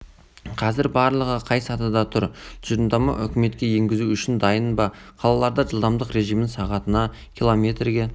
қазір барлығы қай сатыда тұр тұжырымдама үкіметке енгізу үшін дайын ба қалаларда жылдамдық режимін сағатына километрге